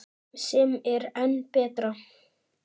Sem er enn betra.